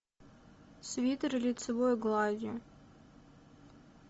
свитер лицевой гладью